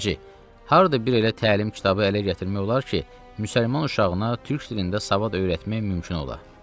Beşinci: Harda bir elə təlim kitabı ələ gətirmək olar ki, müsəlman uşağına türk dilində savad öyrətmək mümkün ola?